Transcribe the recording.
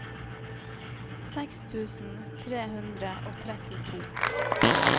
seks tusen tre hundre og trettito